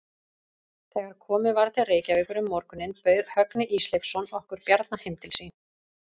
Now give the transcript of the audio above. Þegar komið var til Reykjavíkur um morguninn bauð Högni Ísleifsson okkur Bjarna heim til sín.